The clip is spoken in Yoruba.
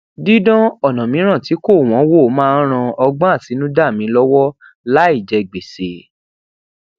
didan ona miiran ti ko won wo maa n ran ogbon atinuda mi lowo lai je gbese